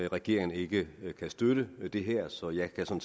regeringen ikke kan støtte det her så jeg kan